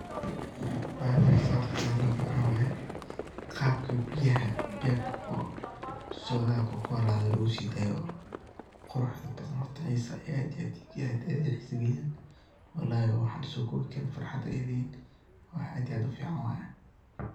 Wax yalaha horta xisaha leh maxa waye , qabka biyaha bebka oo shoodaha kokolada logu sidayoo quruxda badan horta xisaa aad iyo aad aad iyo aad ayey ii xisaa galiyaan, wallahi waa waxaan lasoo kobi karin farxadaa ii da ah waa wax aad iyo aad u fican waye.